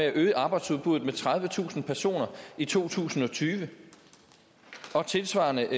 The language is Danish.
at øge arbejdsudbuddet med tredivetusind personer i to tusind og tyve og tilsvarende